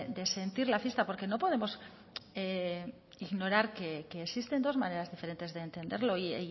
de sentir la fiesta porque no podemos ignorar que existen dos maneras diferentes de entenderlo y